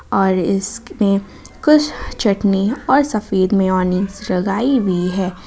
और इसमें कुछ चटनी और सफेद में मेयोनेज़ लगाई हुई है।